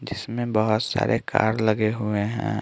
जिसमें बहुत सारे कार लगे हुए हैं।